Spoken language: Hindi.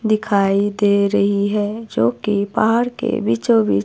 दिखाई दे रही है जो कि बाहर के बीचों बीच--